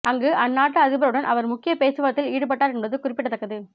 அங்கு அந்நாட்டு அதிபர் உடன் அவர் முக்கிய பேச்சுவார்த்தையில் ஈடுபட்டார் என்பது குறிப்பிடத்தக்கது